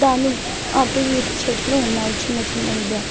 అటు ఇటు చెట్లు ఉన్నాయి చిన్న చిన్నవిగా.